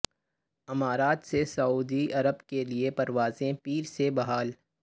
امارات سے سعودی عرب کے لیے پروازیں پیر سے بحال